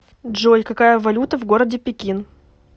джой какая валюта в городе пекин